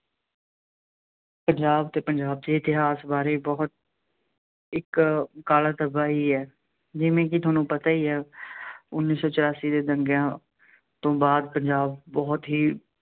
ਪੰਜਾਬ ਅਤੇ ਪੰਜਾਬ ਦੇ ਇਤਿਹਾਸ ਬਾਰੇ ਬਹੁਤ ਇੱਕ ਕਾਲਾ ਧੱਬਾ ਹੀ ਹੈ। ਜਿਵੇਂ ਕਿ ਤੁਹਾਨੂੰ ਪਤਾ ਹੀ ਹੈ ਉੱਨੀ ਸੌ ਚੁਰਾਸੀ ਦੇ ਦੰਗਿਆਂ ਤੋਂ ਬਾਅਦ ਪੰਜਾਬ ਬਹੁਤ ਹੀ